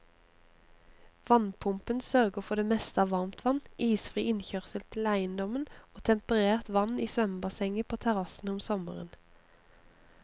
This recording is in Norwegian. Varmepumpen sørger for det meste av varmtvann, isfri innkjørsel til eiendommen og temperert vann i svømmebassenget på terrassen om sommeren.